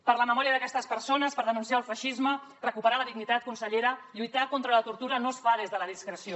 per la memòria d’aquestes persones per denunciar el feixisme recuperar la dignitat consellera lluitar contra la tortura no es fa des de la discreció